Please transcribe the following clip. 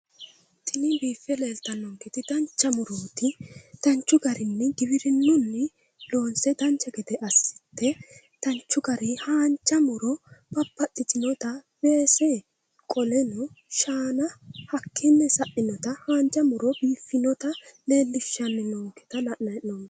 Tini biife leeltanonketi dancha murooti danchu garinni giwirinnunni loonse dancha gede assite danchu garii haanja muro babbaxitinota weese qoleno shaana hakkiinni sa'inota haanja muro biiffinota leelishanninoonketa la'nanni hee'noomo.